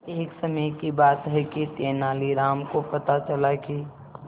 एक समय की बात है कि तेनालीराम को पता चला कि